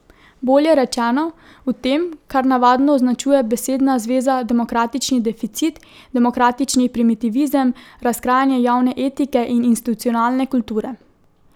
Bolje rečeno, v tem, kar navadno označuje besedna zveza demokratični deficit, demokratični primitivizem, razkrajanje javne etike in institucionalne kulture.